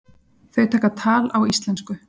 Þau taka tal á íslensku.